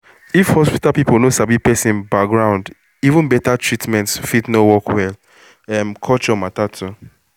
if hospital people no sabi person background even better treatment fit no work well — um culture matter too